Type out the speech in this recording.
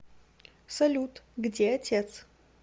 салют где отец